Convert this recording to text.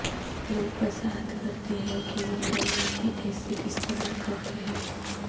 لوگ وضاحت کرتے ہیں کہ وہ موریاتی ایسڈ استعمال کرتے ہیں